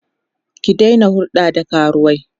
ki Daina hulɗa da karuwai!